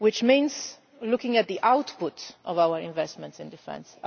This means looking at the output of our investments in defence.